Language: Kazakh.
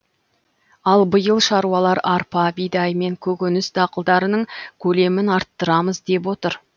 ал биыл шаруалар арпа бидай мен көкөніс дақылдарының көлемін арттырамыз деп отыр